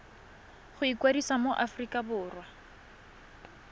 go ikwadisa mo aforika borwa